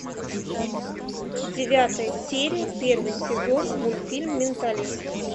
девятая серия первый сезон мультфильм менталист